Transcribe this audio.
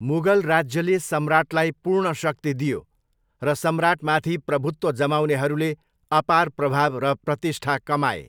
मुगल राज्यले सम्राटलाई पूर्ण शक्ति दियो र सम्राटमाथि प्रभुत्व जमाउनेहरूले अपार प्रभाव र प्रतिष्ठा कमाए।